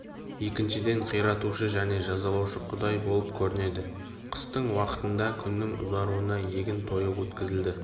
екіншіден қиратушы және жазалаушы құдай болып көрінеді қыстың уақы-тында күннің ұзаруына егін тойы өткізілді